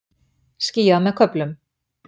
Skýjað með köflum